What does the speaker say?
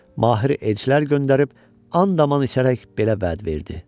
Mahir elçilər göndərib and-aman içərək belə vəd verdi.